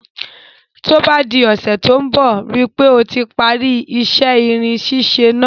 Ní ọ́sẹ̀ to n bo, rípe o ti parí isẹ́ irin sísẹ náà